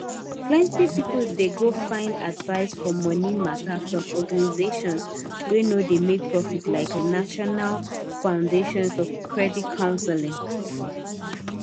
plenty pipu dey go find advice for money matter from organizations wey no dey make profit like national foundation for credit counseling